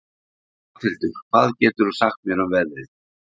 Arnhildur, hvað geturðu sagt mér um veðrið?